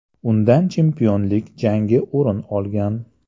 Undan chempionlik jangi o‘rin olgan.